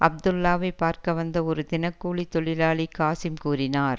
அப்துல்லாவைப் பார்க்க வந்த ஒரு தினக்கூலி தொழிலாளி காசிம் கூறினார்